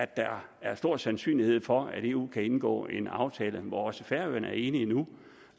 der er stor sandsynlighed for at eu kan indgå en aftale hvor også færøerne nu er enige